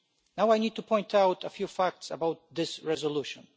Now, I need to point out a few facts about this resolution.